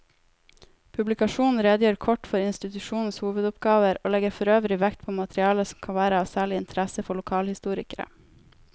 Publikasjonen redegjør kort for institusjonenes hovedoppgaver og legger forøvrig vekt på materiale som kan være av særlig interesse for lokalhistorikere.